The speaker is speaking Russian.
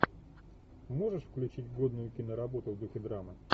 можешь включить годную киноработу в духе драмы